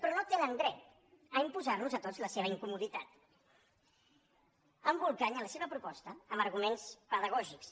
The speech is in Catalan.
però no tenen dret a imposar nos a tots la seva incomoditat embolcallant la seva proposta amb arguments pedagògics